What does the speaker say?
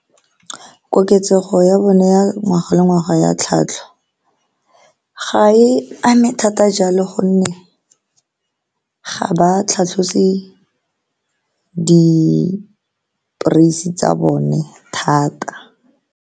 Koketsego ya bone ya ngwaga le ngwaga ya tlhwatlhwa, ga e ame thata jalo ka gonne ga ba tlhatlhose di-prys-e tsa bone thata.